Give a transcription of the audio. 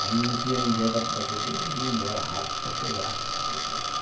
Quando não tinha ninguém para trazer, eu vinha embora rápido para chegar, uhum.